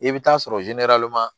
I bɛ taa sɔrɔ